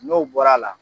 N'o bɔra a la